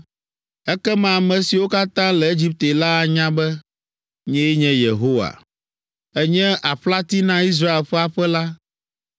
Ekema ame siwo katã le Egipte la anya be, nyee nye Yehowa. “ ‘Ènye aƒlati na Israel ƒe aƒe la.